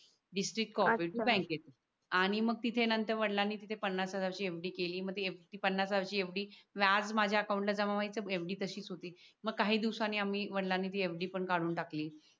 आणि मग तिथे नंतर वडिलांनी तिथे पन्नास हजाराची FD केली ती पन्नास हजाराची FD व्याज माझ्या अकाउंट जमा व्हायची FD तसीच होती मग काही दिवसांनी आम्ही वडिलांनी ती fd पण काढून टाकली